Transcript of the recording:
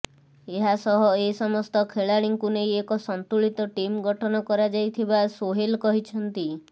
ଏହାସହ ଏସମସ୍ତ ଖେଳାଳିଙ୍କୁ ନେଇ ଏକ ସନ୍ତୁଳିତ ଟିମ୍ ଗଠନ କରାଯାଇଥିବା ସୋହେଲ କହିଛନ୍ତି